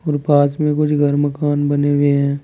और पास में कुछ घर मकान बने हुए हैं।